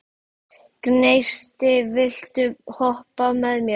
Gneisti, viltu hoppa með mér?